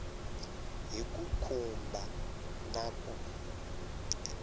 hi ku khumba na ku